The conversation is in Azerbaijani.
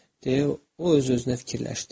Deyə o öz-özünə fikirləşdi.